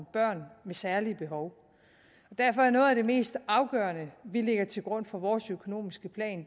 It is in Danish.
børn med særlige behov derfor er noget af det mest afgørende vi lægger til grund for vores økonomiske plan